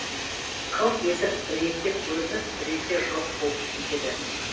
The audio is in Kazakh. қылт етіп біресе көрініп біресе жоқ болып кетеді